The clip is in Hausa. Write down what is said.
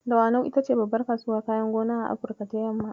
Dawanau ita ce babbar kasuwar kayan gona a Afrika ta yamma.